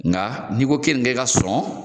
Nga n'i ko kenige ka sɔn